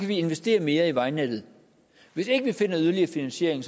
vi investere mere i vejnettet hvis ikke vi finder yderligere finansiering